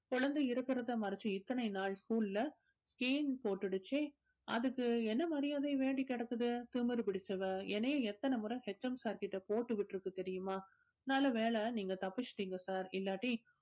குழந்தை இருக்கிறத மறைச்சி இத்தனை நாள் school ல scene போட்டுடுச்சு அதுக்கு என்ன மரியாதை வேண்டி கிடக்குது திமிர் பிடிச்சவ என்னையே எத்தனை முறை HM sir கிட்ட போட்டு விட்டுருக்கு தெரியுமா நல்ல வேளை நீங்க தப்பிச்சிட்டீங்க sir இல்லாட்டி